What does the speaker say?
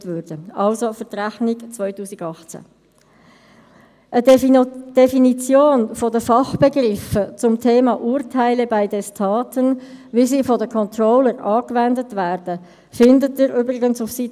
Der Regierungsrat wird beauftragt, die mit der FiKo besprochenen Abweichungen von HRM2 in den entsprechenden Regelwerken (FLG, FLV, Handbuch) korrekt abzubilden, beziehungsweise die korrekte Abbildung zu veranlassen.